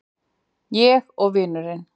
Ég og vinurinn.